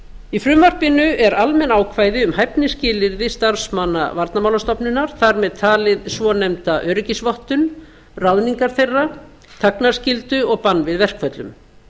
í frumvarpinu eru almenn ákvæði um hæfnisskilyrði starfsmanna varnarmálastofnunar þar með talin svonefnda öryggisvottun ráðningar þeirra þagnarskyldu og bann við verkföllum